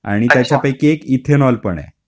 आणि त्याच्या पैकी एक इथेनॉल पण आहे.